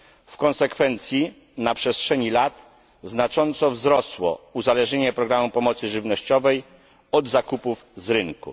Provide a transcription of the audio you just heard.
W konsekwencji na przestrzeni lat znacząco wzrosło uzależnienie programu pomocy żywnościowej od zakupów z rynku.